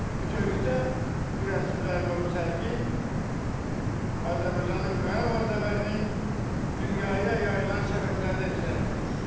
Bütövlükdə bu rəsimlər və bu sərgi Azərbaycanın Qarabağ zəfərinin dünyaya yayılan şəfəqlərini əks etdirir.